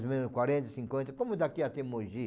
mais ou menos quarenta, cinquenta, como daqui até Mogi.